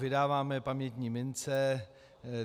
Vydáváme pamětní mince.